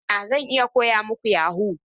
I mana! Zan iya koya muku yahoo.